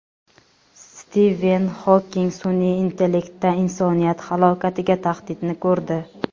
Stiven Xoking sun’iy intellektda insoniyat halokatiga tahdidni ko‘rdi.